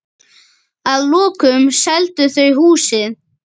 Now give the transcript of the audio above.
Að lokum seldu þau húsið.